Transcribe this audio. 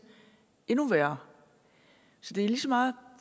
endnu værre så det er lige så meget